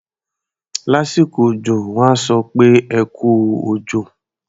Lásìkò òjọ, wọ́n á sọ pé "ẹ kú òjò".